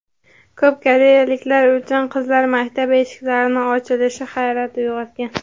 Ko‘p koreyaliklar uchun qizlar maktabi eshiklarining ochilishi hayrat uyg‘otgan.